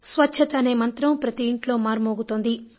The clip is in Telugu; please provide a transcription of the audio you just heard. స్వచ్ఛత అనే మంత్రం ప్రతి ఇంట్లో మార్మోగుతోంది